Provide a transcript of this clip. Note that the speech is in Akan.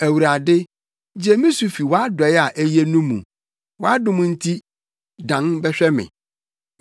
Awurade, gye me so fi wʼadɔe a eye no mu; wʼadom nti, dan bɛhwɛ me.